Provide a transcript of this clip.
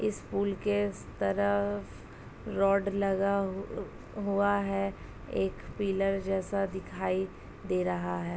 इस पूल के स तरफ रॉड लगा अ हुआ है। एक पिलर जैसा दिखाई दे रहा है।